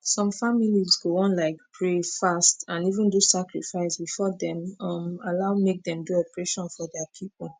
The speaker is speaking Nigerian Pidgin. some families go wan like pray fast and even do sacrifice before dem um allow make dem do operation for dia people